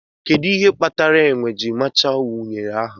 Kedu ihe kpatara enwe ji mechaa unere ahụ?